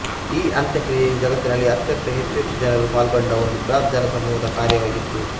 ಈ ಅಂತ್ಯಕ್ರಿಯೆಯು ಜಗತ್ತಿನಲ್ಲಿ ಅತ್ಯಂತ ಹೆಚ್ಚು ಹೆಚ್ಚು ಜನರು ಪಾಲ್ಗೊಂಡ ಒಂದು ಬೃಹತ್ ಜನಸಮೂಹದ ಕಾರ್ಯವಾಗಿತ್ತು